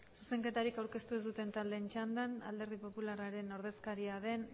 zuzenketarik aurkeztu ez duten taldeen txandan alderdi popularraren ordezkaria den